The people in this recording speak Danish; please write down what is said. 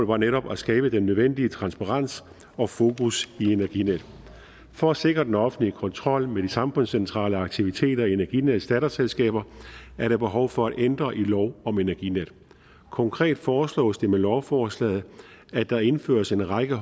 var netop at skabe den nødvendige transparens og fokus i energinet for at sikre den offentlige kontrol med de samfundscentrale aktiviteter i energinets datterselskaber er der behov for at ændre i lov om energinet konkret foreslås det med lovforslaget at der indføres en række